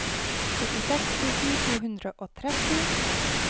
førtiseks tusen to hundre og tretti